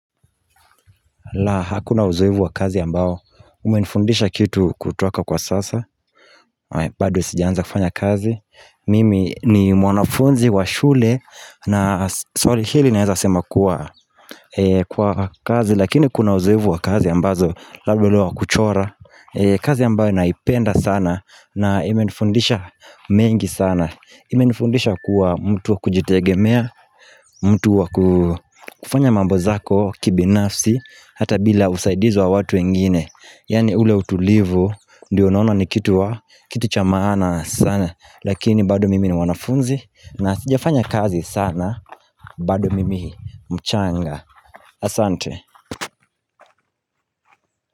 La, hakuna uzoefu wa kazi ambao umenifundisha kitu kutoka kwa sasa bado sijaanza kufanya kazi, mimi ni mwanafunzi wa shule na, sorry, hili naweza kusema kuwa, kwa kazi, lakini kuna uzoefu wa kazi ambazo labda ule wa kuchora kazi ambayo naipenda sana na imenifundisha mengi sana imenifundisha kuwa mtu wa kujitegemea mtu wa kufanya mambo zako kibinafsi Hata bila usaidizi wa watu wengine Yaani ule utulivu Ndiyo naona ni kitu wa Kitu cha maana sana Lakini bado mimi ni mwanafunzi na sijafanya kazi sana bado mimi mchanga Asante.